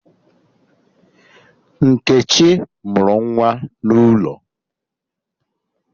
Nkechi mụrụ nwa n'ụlọ